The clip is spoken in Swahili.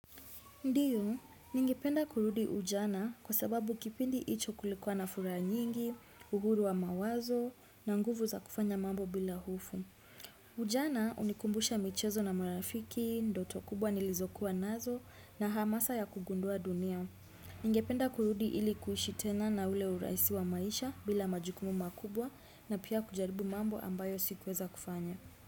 Ndiyo, ningependa kurudi ujana kwa sababu kipindi hicho kulikuwa na fura nyingi, uhuru wa mawazo na nguvu za kufanya mambo bila hofu. Ujana hunikumbusha michezo na marafiki, ndoto kubwa nilizokuwa nazo na hamasa ya kugundua dunia. Ningependa kurudi ilikuishi tena na ule urahisi wa maisha bila majukumu makubwa na pia kujaribu mambo ambayo sikuweza kufanya.